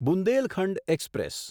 Bundelkhand express